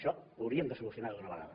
això ho hauríem de solucionar d’una vegada